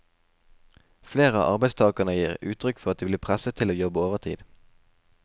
Flere av arbeidstagerne gir uttrykk for at de blir presset til å jobbe overtid.